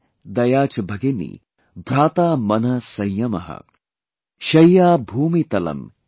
शय्याभूमितलंदिशोSपिवसनंज्ञानामृतंभोजनं